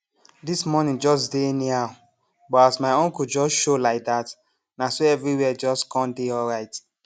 this morning jus dey anyhow but as my uncle jus show laidat naso eviri where jus com dey alright